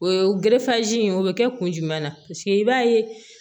O ye in ye o bɛ kɛ kun jumɛn na paseke i b'a ye